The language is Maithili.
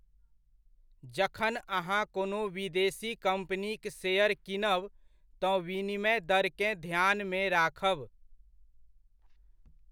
जखन अहाँ कोनो विदेशी कम्पनीक शेयर कीनब, तँ विनिमय दरकेँ ध्यानमे राखब।